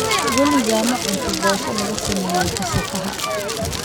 Weligaa ma cuntay boshada lagasameye kasaafaha?